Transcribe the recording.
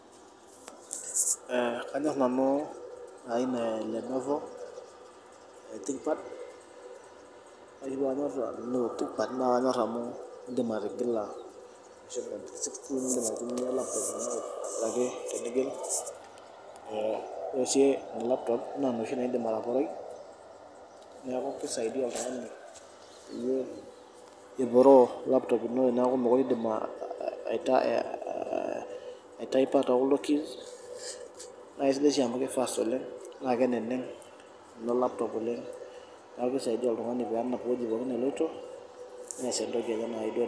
Eh kaanyor nanu aina eh Lenovo oo t pad ore oshi paanyor nanu tpad naa kaanyor amu, idim atigila meshomo 370 nidim atigila peetumoki aitumia laptop ino aitobiraki tenigil eh ore si laptop naa noshi naa idim ataporoi . Neaku kisaidia oltungani peyie eporoo laptop ino teeneeku mekure idim ai ah taipa tekuldo keys . Naa kisidai sii amu ki fast oleng , naa keneneg ilo laptop oleng. Neaku kisaidia oltungani pee enap ewueji pookin neloito neas etoki enye nayieu duo neas.